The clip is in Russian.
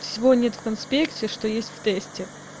всего нет в конспекте что есть в тесте